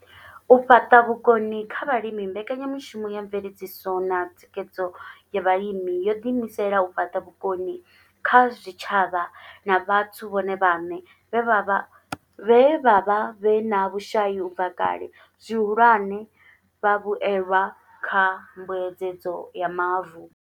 U fhaṱa vhukoni kha vhalimi mbekanyamushumo ya mveledziso na thikhedzo ya vhalimi yo ḓi imisela u fhaṱa vhukoni kha zwitshavha na vhathu vhone vhaṋe vhe vha vha vhe vha vha vhe na vhushai u bva kale, zwihulwane, vhavhuelwa kha mbuedzedzo ya mavu.